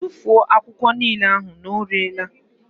Tụfuo akwụkwọ niile ahụ na ọ rere la!